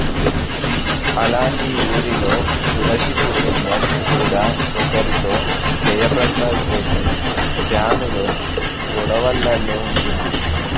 ఆలాంటి ఊరిలో తులసి కుటుంబం కూడా ఒకరితొ జయ ప్రకాష్ రెడ్డి ఫ్యామిలో గోడవలలో ఉంటుంది